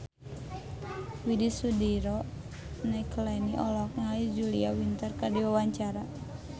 Widy Soediro Nichlany olohok ningali Julia Winter keur diwawancara